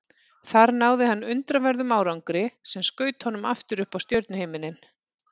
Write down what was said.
Þar náði hann undraverðum árangri sem skaut honum aftur upp á stjörnuhimininn.